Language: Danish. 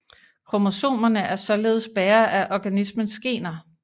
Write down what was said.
Kromosomerne er således bærere af organismens gener